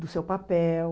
do seu papel.